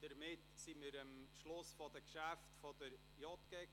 Damit sind wir am Schluss der Geschäfte der JGK angelangt.